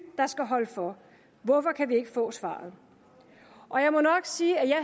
der skal holde for hvorfor kan vi ikke få svaret og jeg må nok sige at jeg